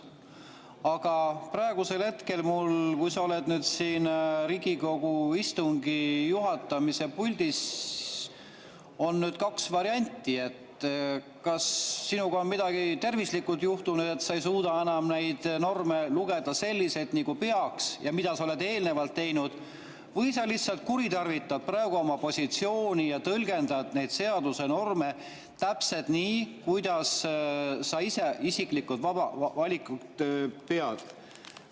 Aga praegu, kui sa oled siin Riigikogu istungi juhatamise puldis, on kaks varianti: kas sinu tervisega on midagi juhtunud, et sa ei suuda enam neid norme lugeda selliselt, nagu peaks ja nagu sa oled eelnevalt teinud, või sa lihtsalt kuritarvitad praegu oma positsiooni ja tõlgendad neid seaduse norme täpselt nii, kuidas sa ise isiklikke valikuid sead.